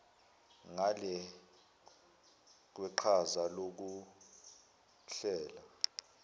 ngale kweqhaza lokuhlela